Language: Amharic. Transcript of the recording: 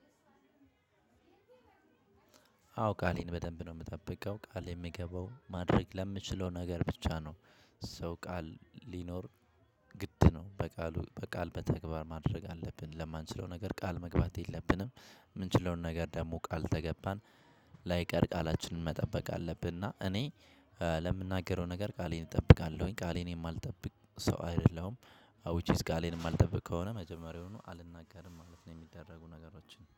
አዎ ቃሌን በደንብ ነው የምጠብቀው ቃል የሚገባው ማድረግ ለምችለው ነገር ብቻ ነው። ሰው ቃል ሊኖር ግድ ነው በቃሉ በቃል በተግባር ማድረግ አለብን ለማንችለው ነገር ቃል መግባት የለብንም። የምንችለውን ነገር ደግሞ ቃል ተገባን ላይቀር ቃላችንን መጠበቅ አለብን። እና እኔ ለምናገረው ነገር ቃሌን እጠብቃለሁኝ ቃሌን የማልጠብቅ ሰው አይደለም። ዊች ኢዝ ጋሌንም አልጠበቅ ከሆነ መጀመሪያውኑ አልናገርም ማለት ነው የሚደረጉ ነገሮችን